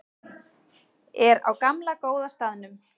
Er á gamla góða staðnum.